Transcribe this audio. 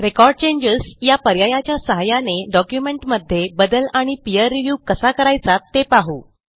record changes या पर्यायाच्या सहाय्याने डॉक्युमेंटमध्ये बदल आणि पीर रिव्ह्यू कसा करायचा ते पाहू